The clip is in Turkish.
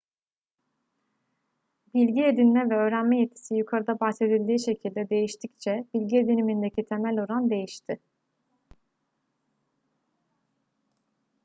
bilgi edinme ve öğrenme yetisi yukarıda bahsedildiği şekilde değiştikçe bilgi edinimindeki temel oran değişti